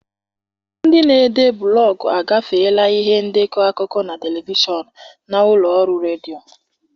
Ndị na-ede blọgụ agafeela ihe ndekọ akụkọ na telivishọn na ụlọ ọrụ redio.